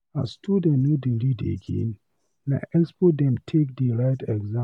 As students no dey read again, na expo dem take dey write exam.